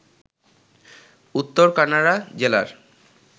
উত্তর কান্নাড়া জেলার